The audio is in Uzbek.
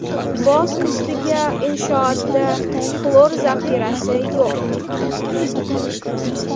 Boz ustiga inshootda xlor zaxirasi yo‘q.